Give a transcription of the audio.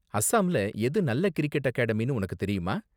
அசாம்ல எது நல்ல கிரிக்கெட் அகாடமினு உனக்கு தெரியுமா?